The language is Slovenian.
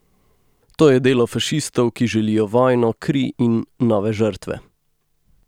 To je delo fašistov, ki želijo vojno, kri in nove žrtve.